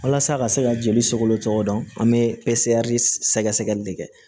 Walasa ka se ka joli sogolo cogo dɔn an bɛ sɛgɛ sɛgɛli de kɛ